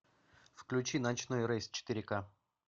включи ночной рейс четыре ка